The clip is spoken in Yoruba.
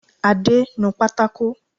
Adé, nu pátákò!